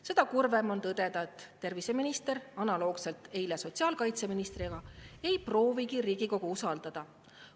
Seda kurvem on tõdeda, et terviseminister, nagu tegi eile ka sotsiaalkaitseminister, ei proovigi Riigikogu usaldada.